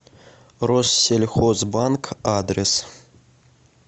россельхозбанк адрес